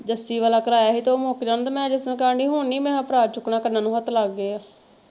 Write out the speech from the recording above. ਜੱਸੀ ਵਾਲਾ ਕਰਾਇਆ ਸੀ ਤੇ ਉਹ ਮੁੱਕ ਜਾਣਾ ਤੇ ਮੈਂ ਜਿਸਤਰਾਂ ਕਹਿਣ ਦੀ ਹੁਣ ਨਹੀਂ ਮੈਂ ਕਿਹਾ ਭਰਾ ਚੁੱਕਣਾ ਕੰਨਾਂ ਨੂੰ ਹੱਥ ਲੱਗ ਗਏ ਆ।